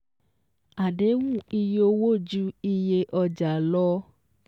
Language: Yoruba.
Àdéhùn iye owó ju iyé ọjà lọ